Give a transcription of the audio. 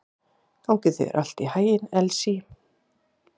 Gangi þér allt í haginn, Elsý.